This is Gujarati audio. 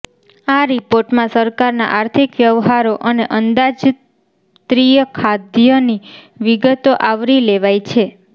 આ રિપોર્ટમાં સરકારના આર્થિક વ્યવહારો અને અંદાજત્રીય ખાધની વિગતો આવરી લેવાય છે